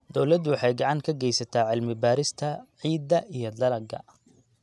Dawladdu waxay gacan ka geysataa cilmi-baarista ciidda iyo dalagga.